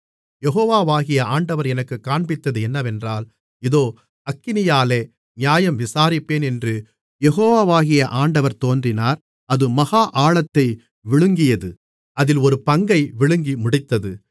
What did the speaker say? யெகோவாகிய ஆண்டவர் எனக்குக் காண்பித்தது என்னவென்றால் இதோ அக்கினியாலே நியாயம் விசாரிப்பேன் என்று யெகோவாகிய ஆண்டவர் தோன்றினார் அது மகா ஆழத்தை விழுங்கியது அதில் ஒரு பங்கை விழுங்கி முடித்தது